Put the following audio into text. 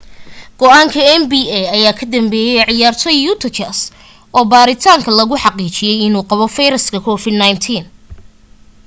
go'aanka nba ayaa ka dambeeyey ciyaartooy utah jazz oo baaritaanka lagu xaqiijiyay inuu qabo viruska covid-19